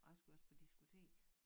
Og jeg skulle også på diskotek